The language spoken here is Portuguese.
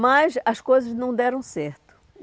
Mas as coisas não deram certo.